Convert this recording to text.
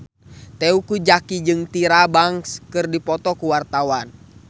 Teuku Zacky jeung Tyra Banks keur dipoto ku wartawan